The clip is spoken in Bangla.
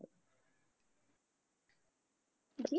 জি